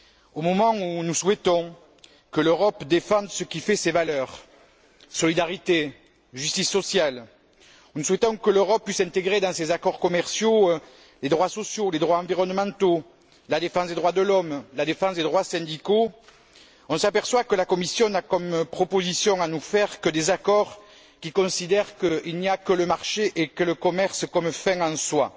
Au moment où nous souhaitons que l'Europe défende ce qui fait ses valeurs solidarité, justice sociale où nous souhaitons que l'Europe puisse intégrer dans ses accords commerciaux les droits sociaux, les droits environnementaux, la défense des droits de l'homme, la défense des droits syndicaux, on s'aperçoit que la Commission n'a comme proposition à nous faire que des accords qui considèrent qu'il n'y a que le marché et le commerce comme fin en soi,